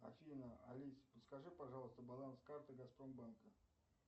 афина алисаподскажи пожалуйста баланс карты газпромбанка